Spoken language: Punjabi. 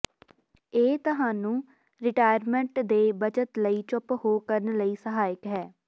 ਇਹ ਤੁਹਾਨੂੰ ਿਰਟਾਇਰਮਟ ਦੇ ਬੱਚਤ ਲਈ ਚੁੱਪ ਹੋ ਕਰਨ ਲਈ ਸਹਾਇਕ ਹੈ